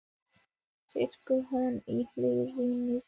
segir hún í hæðnistón.